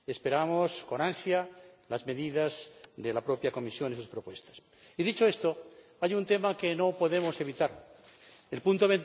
Esperamos con ansia las medidas de la propia Comisión y sus propuestas. Y dicho esto, hay un tema que no podemos evitar el apartado